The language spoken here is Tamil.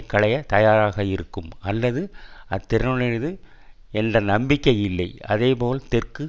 களைய தயாராக இருக்கும் அல்லது அத்திறனுடையது என்ற நம்பிக்கை இல்லை அதே போல் தெற்கு